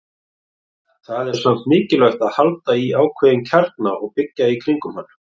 Það er samt mikilvægt að halda í ákveðinn kjarna og byggja í kringum hann.